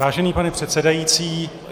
Vážený pane předsedající -